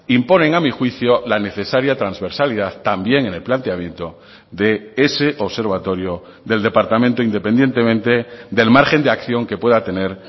imponen a mi juicio la necesaria transversalidad también en el planteamiento de ese observatorio del departamento independientemente del margen de acción que pueda tener